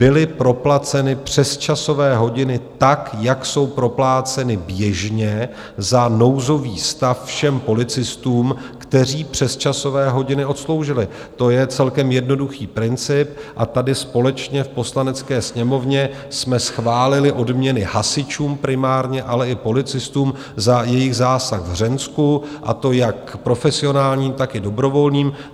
Byly proplaceny přesčasové hodiny tak, jak jsou propláceny běžně za nouzový stav všem policistům, kteří přesčasové hodiny odsloužili, to je celkem jednoduchý princip, a tady společně v Poslanecké sněmovně jsme schválili odměny hasičům, primárně ale i policistům za jejich zásah v Hřensku, a to jak profesionálním, tak i dobrovolným.